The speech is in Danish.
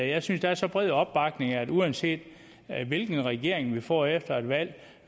jeg synes der er så bred opbakning at uanset hvilken regering vi får efter et valg